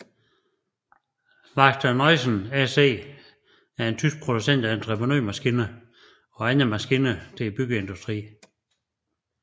Wacker Neuson SE er en tysk producent af entreprenørmaskiner og andre maskiner til byggeindustrien